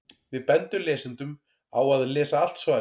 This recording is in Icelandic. Við bendum lesendum á að lesa allt svarið.